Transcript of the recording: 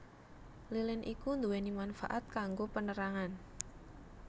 Lilin iku nduweni manfaat kanggo penerangan